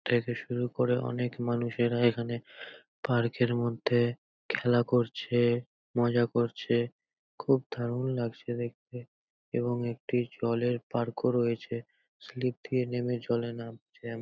থেকে শুরু করে অনেক মানুষেরা এখানে পার্ক -এর মধ্যে খেলা করছে মজা করছে। খুব দারুণ লাগছে দেখতে এবং একটি জলের পার্ক -ও রয়েছে। স্লিপ দিয়ে নেমে জলে নামছে এম --